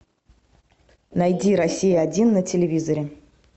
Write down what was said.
найди россия один на телевизоре